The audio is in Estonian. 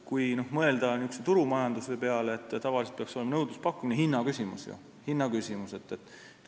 Kui mõelda turumajanduse peale, siis tavaliselt peaks nõudlus ja pakkumine olema hinna küsimus.